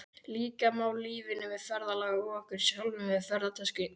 Líkja má lífinu við ferðalag og okkur sjálfum við ferðatösku.